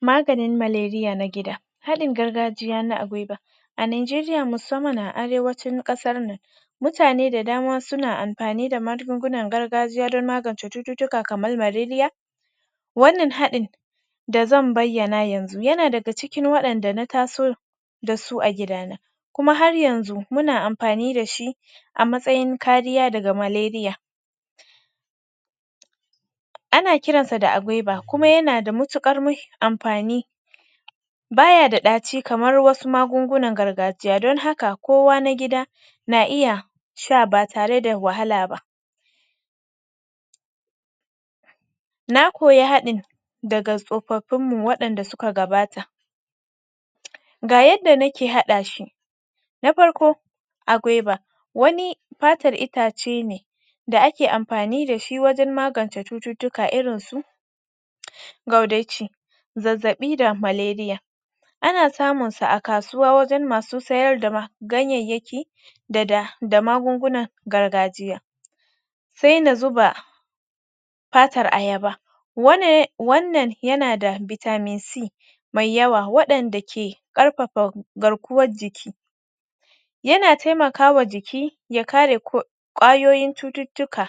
Maganin malaria na gida haɗin gargajiya agwaiba a Najeriya musamman a Arewacin ƙasar nan mutane da dama suna amfani da magungunan gargajiya don magance cututtuka kamar malaria wannan haɗin da zan bayyana yanzu yana daga cikin haɗin da na taso da su a gidana kuma har yanzu muna amfani da su a matsayin kariya daga malaria ana kiransa da agwaiba kuma yana da matuƙar amfani baya da ɗaci kamar wasu magungunan gargajiya don haka kowa na gida na iya sha ba tare da wahala ba. na koyi haɗin daga tsofafinmu waɗanda suka gabata ga yadda nake haɗa shi da farko agwaiba wani fatar itace ne da ake amfani da shi wajen magance cututtuka irin su gaudauci zazzaɓi da malaria ana samunsa a kasuwa wajen masu siyar da ganyayyaki da magungunan gargajiya sai na zuba fatar ayaba wannan yana da vitamin C mai yawa waɗanda ke ƙarƙafa garkuwar jiki yana taimaka ma jiki ya kare ƙwayoyin cututtuka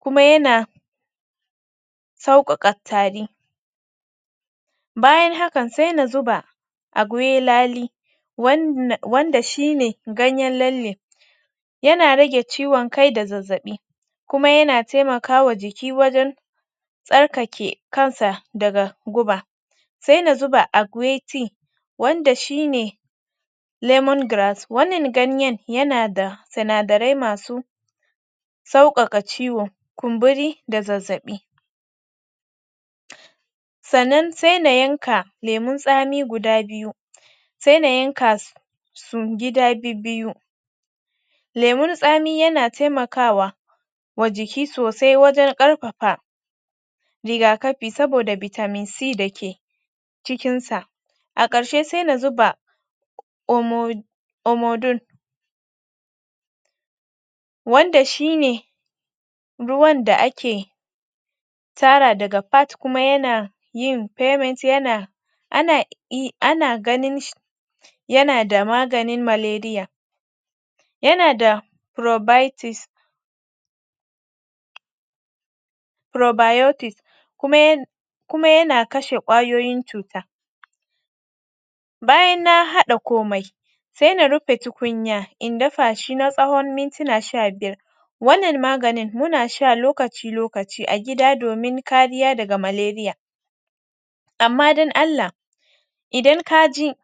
kuma yana sauƙaƙa tari bayan haka sai na zuba agwailali wanda shi ne ganyen lalle yana rage ciwon kai da zazzaɓi kuma yana taimaka ma jiki wajen ytsarkake kansa daga guba. sai na zuba aguiti wanda shi ne lemon grass wanna ganyen yana da sinadarai kamar sauƙaƙa ciwo kumburi da zazzaɓi sannan sai na yanka lemun tsami guda biyu sai na yanka su gida bibbiyu lemun tsami yana taimakawa wa jiki sosai wajen ɗaukaka rigakafi saboda vitamin c da ke cikinsa. a ƙarshe sai na zuba amo omodum wanda shi ne ruwan da ake tara daga part kuma yana yin payment yana ana iya ana ganin shi yana da maganin malaria yana da provitis probiotis kuma yana kashe ƙwayoyin cuta bayan nan haɗa komai sai na rufe tukunya in dafa shi na tsawon mintuna sha biyar wannan maganin muna sha lokaci-lokaci a gida domin kariya daga malaria. amma don Allah idan ka ji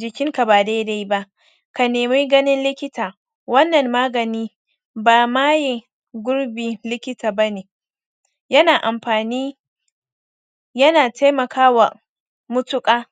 jikinka ba daidai ba ka nemi ganin likita wannan magani ba ma yi gurbin likita ba ne yana amfani yana taimakawa matuƙa.